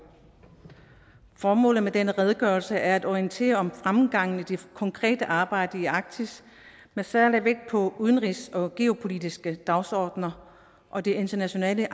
formålet med denne redegørelse er at orientere om fremgangen i det konkrete arbejde i arktis med særlig vægt på udenrigs og geopolitiske dagsordner og det internationale